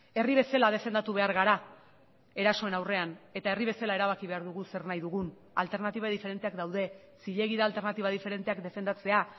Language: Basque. herri bezala defendatu behar gara erasoen aurrean eta herri bezala erabaki behar dugu zer nahi dugun alternatiba diferenteak daude zilegi da alternatiba diferenteak defendatzea